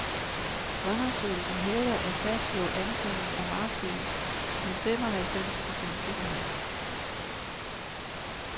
Undersøgelsen hævder at fastslå antallet af marsvin med femoghalvfems procents sikkerhed.